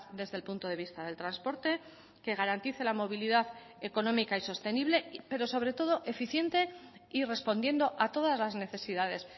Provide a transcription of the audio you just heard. desde el punto de vista del transporte que garantice la movilidad económica y sostenible pero sobre todo eficiente y respondiendo a todas las necesidades